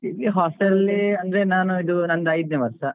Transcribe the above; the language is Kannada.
Hostel ಅಲಿ ಅಂದ್ರೆ ನಾನು ಇದು ನಂದು ಐದ್ನೇ ವರ್ಷ.